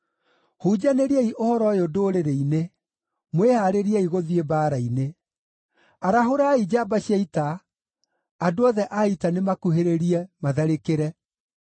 Hunjanĩriai ũhoro ũyũ ndũrĩrĩ-inĩ: Mwĩhaarĩriei gũthiĩ mbaara-inĩ! Arahũrai njamba cia ita! Andũ othe a ita nĩmakuhĩrĩrie, matharĩkĩre.